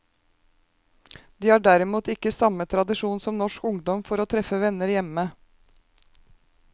De har derimot ikke samme tradisjon som norsk ungdom for å treffe venner hjemme.